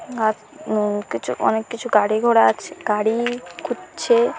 গাছ উম কিছু অনেক কিছু গাড়ি ঘোড়া আছে গাড়ি-ই খুঝছে--